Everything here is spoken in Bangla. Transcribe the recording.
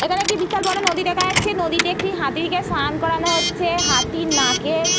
এখানে একটি বিশাল বড়ো নদী দেখা যাচ্ছে। নদীতে একটি হাতিকে সান করানো হচ্ছে হাতির নাকে।